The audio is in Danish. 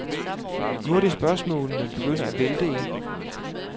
Nu er det spørgsmålene begynder at vælte ind.